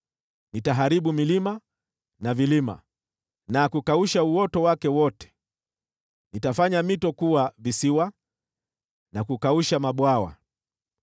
Nitaharibu milima na vilima na kukausha mimea yako yote; nitafanya mito kuwa visiwa na kukausha mabwawa.